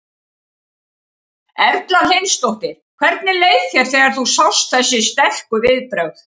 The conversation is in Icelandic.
Erla Hlynsdóttir: Hvernig leið þér þegar þú sást þessi sterku viðbrögð?